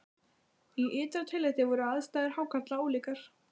Í ytra tilliti voru aðstæður harla ólíkar.